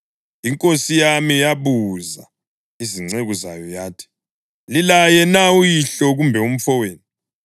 Inkosi yami yabuza izinceku zayo yathi, ‘Lilaye na uyihlo kumbe umfowenu?’